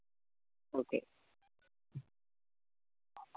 okay